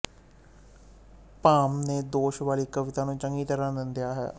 ਭਾਮਹ ਨੇ ਦੋਸ਼ ਵਾਲੀ ਕਵਿਤਾ ਨੂੰ ਚੰਗੀ ਤਰ੍ਹਾਂ ਨਿੰਦਿਆ ਹੈ